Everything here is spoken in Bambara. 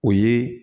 O ye